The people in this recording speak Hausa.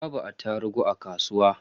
Babu attarugu a kasuwa.